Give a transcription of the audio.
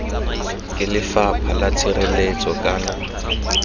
ke lefapha la tshireletso kana